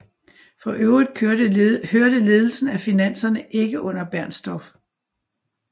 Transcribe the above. For øvrigt hørte ledelsen af finanserne ikke under Bernstorff